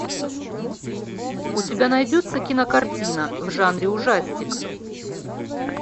у тебя найдется кинокартина в жанре ужастик